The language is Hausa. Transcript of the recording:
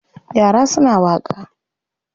Yra suna waƙa.